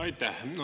Aitäh!